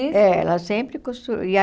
É, ela sempre costu e a